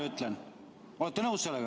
Olete nõus sellega?